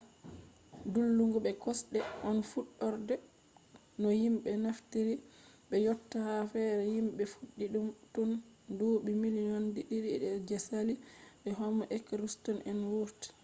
dillugo be kosɗe on fuɗɗorde no himɓe naftiri be yotta ha fere himɓe fuɗɗi ɗum tun duuɓi miliyon ɗiɗi je saali de homo erektus en wurti